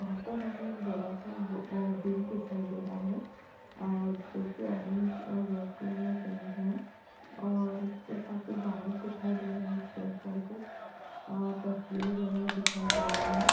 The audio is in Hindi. यहाँं पर हमें एक बड़ा सा बु ब्रिज दिखाई दे रहा है और जो की ऑरेंज और रेड कलर में पेंट है और इसके साथ ही बाहर दिखाई दे रहे उसके ऊपर कुछ तस्वीर बनी दिखाई दे रही हैं।